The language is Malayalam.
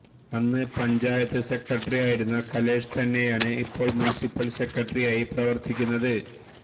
അന്ന് പഞ്ചായത്ത് സെക്രട്ടറിയായിരുന്ന കലേഷ് തന്നെയാണ് ഇപ്പോൾ മുൻസിപ്പൾ സെക്രട്ടറിയായി പ്രവർത്തിക്കുന്നത്